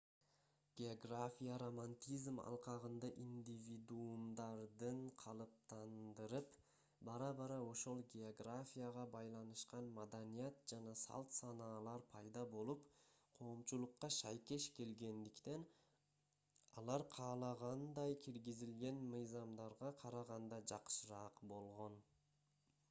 география романтизм алкагында индивидуумдарды калыптандырып бара-бара ошол географияга байланышкан маданият жана салт-санаалар пайда болуп коомчулукка шайкеш келгендиктен алар каалагандай киргизилген мыйзамдарга караганда жакшыраак болгон